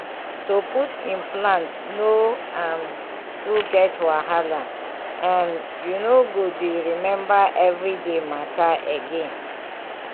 to put implant no um too get wahala um — you no go dey remember everyday matter again small pause.